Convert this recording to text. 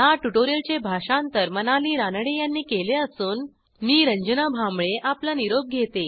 ह्या ट्युटोरियलचे भाषांतर मनाली रानडे यांनी केले असून मी रंजना भांबळे आपला निरोप घेते